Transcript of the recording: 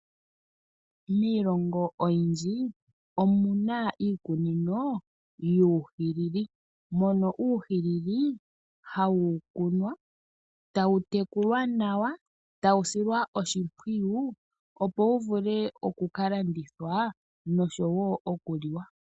Miilongo oyindji omuna iikunino yuuhilili, mono uuhilili hawu kunwa, tawu tekulwa nawa, tawu silwa oshimpwiyu opo wu vule okukalandithwa noshowoo okuliwa.